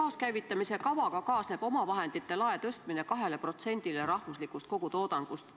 Taaskäivitamise kavaga kaasneb omavahendite lae tõstmine 2%-le rahvuslikust kogutoodangust.